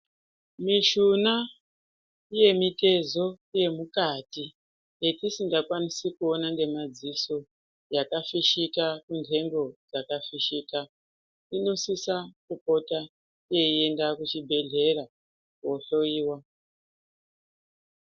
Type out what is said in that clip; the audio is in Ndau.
Mishuna yemitezo yemukati yetisingakwanisi kuona ngemadziso yakafishika munhtengo dzakafishika , inosisa kupota yeienda kuchibhehlera kohloyiwa .